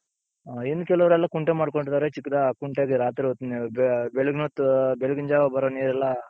ಹ ಇನ್ ಕೆಲವ್ರೆಲ್ಲ ಕುಂಟೆ ಮಾಡ್ಕೊಂಡಿದ್ದಾರೆ ಚಿಕ್ದಾಗಿ ಆ ಕುಂಟೆಗೆ ರಾತ್ರಿ ಹೊತ್ತ್ ಬೆಳಿಗಿನ್ ಹೊತ್ತು ಬೆಳಗ್ಗಿನ ಜಾವ ಬರೋ ನೀರೆಲ್ಲಾ,